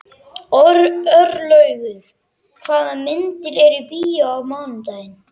Örlaugur, hvaða myndir eru í bíó á mánudaginn?